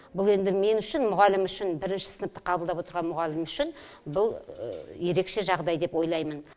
бұл енді мен үшін мұғалім үшін бірінші сыныпты қабылдап отырған мұғалім үшін бұл ерекше жағдай деп ойлаймын